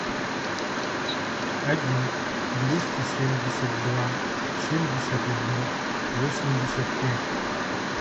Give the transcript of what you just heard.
один двести семьдесят два семьдесят один восемьдесят пять